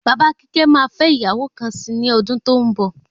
Bàbá kíkẹ́ máa fẹ ìyàwó kan sí ní ọdún tó ń bọ̀